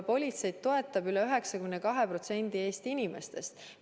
Politseid toetab üle 92% Eesti inimestest.